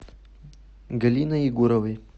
галиной егоровой